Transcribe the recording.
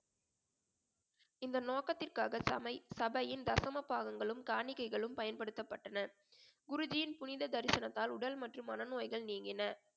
இந்த நோக்கத்திற்காக சமை~ சபையின் தசம பாகங்களும் காணிக்கைகளும் பயன்படுத்தப்பட்டன குருஜியின் புனித தரிசனத்தால் உடல் மற்றும் மன நோய்கள் நீங்கின